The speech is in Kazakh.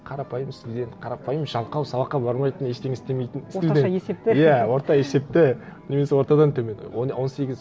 қарапайым студент қарапайым жалқау сабаққа бармайтын ештеңе істемейтін орташа есепті иә орта есепті немесе ортадан төмен он сегіз